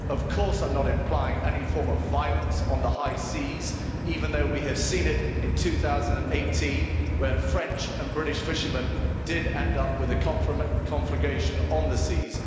Of course I'm not implying any form of violence on the high seas, even though we have seen it in 2018 when French and British fishermen did end up with a confrontation on the seas.